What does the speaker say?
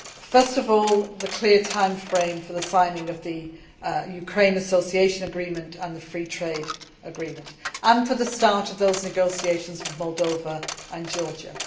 First of all, the clear time frame for the signing of the Ukraine Association Agreement and the free trade agreement, and for the start of those negotiations with Moldova and Georgia.